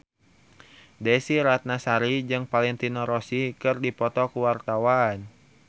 Desy Ratnasari jeung Valentino Rossi keur dipoto ku wartawan